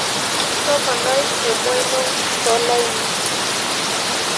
toponai emwaino to laini